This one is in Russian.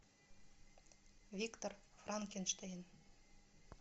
виктор франкенштейн